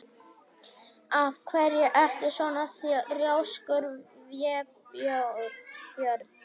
Af hverju ertu svona þrjóskur, Vébjörn?